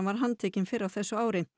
var handtekinn fyrr á þessu ári